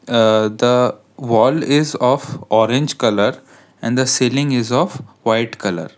ah the wall is of orange colour and the ceiling is of white colour.